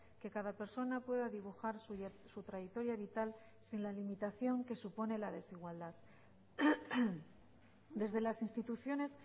que cada persona pueda dibujar su trayectoria vital sin la limitación que supone la desigualdad desde las instituciones